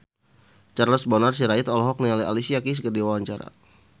Charles Bonar Sirait olohok ningali Alicia Keys keur diwawancara